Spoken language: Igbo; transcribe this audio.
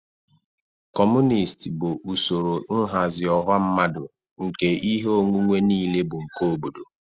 Kọmunist bụ usoro nhazi ọha mmadụ nke ihe onwunwe niile bụ nke obodo.